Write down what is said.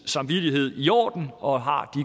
samvittigheden i orden og har